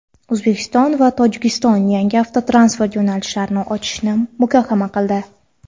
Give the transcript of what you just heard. O‘zbekiston va Tojikiston yangi avtotransport yo‘nalishlarini ochishni muhokama qildi.